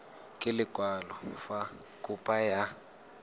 ka lekwalo fa kopo ya